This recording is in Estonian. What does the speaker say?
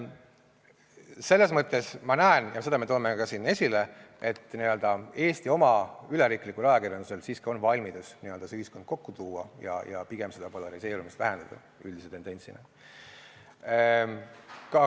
Selles mõttes ma näen – ja seda me toome ka siin esile –, et Eesti oma üleriiklikul ajakirjandusel siiski on valmidus ühiskond n-ö kokku tuua ja pigem seda polariseerumist vähendada üldise tendentsina.